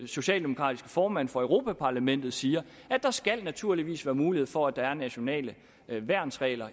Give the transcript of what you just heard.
socialdemokratiske formand for europa parlament siger skal der naturligvis være mulighed for at der er nationale værnsregler